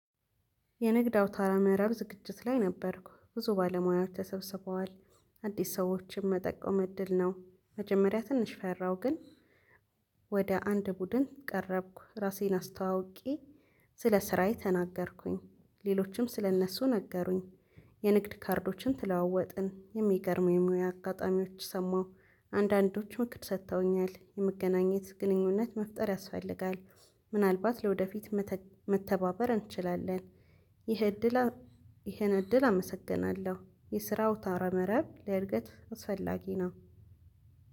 የንግድ አውታረ መረብ ዝግጅት ላይ ነበርኩ ብዙ ባለሙያዎች ተሰብስበዋል አዲስ ሰዎችን መጠቆም እድል ነው። መጀመሪያ ትንሽ ፈራሁ ግን። ወደ አንድ ቡድን ቀረብኩ ራሴን አስተዋውቄ። ስለ ስራዬ ተናገርኩኝ ሌሎችም ስለእነሱ ነገሩኝ። የንግድ ካርዶችን ተለዋወጥን የሚገርሙ የሙያ አጋጣሚዎች ሰማሁ። አንዳንዶቹን ምክር ሰጥተውኛል የመገናኘት ግንኙነት መፍጠር ያስፈልጋል። ምናልባት ለወደፊት መተባበር እንችላለን። ይህ እድል ይህን እድል አመሰግናለሁ። የስራ አውታረ መረብ ለእድገት አስፈላጊ ነው።